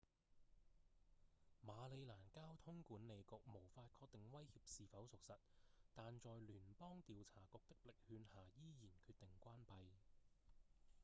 馬里蘭交通管理局無法確定威脅是否屬實但在聯邦調查局的力勸下依然決定關閉